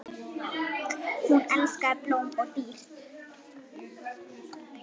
Hún elskaði blóm og dýr.